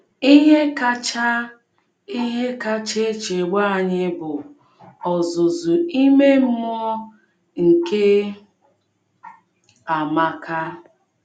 Ihe kacha Ihe kacha echegbu anyị bụ ọzụzụ ime mmụọ nke Amaka.